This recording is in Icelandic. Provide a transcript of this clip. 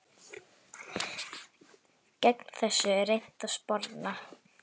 Gegn þessu er reynt að sporna.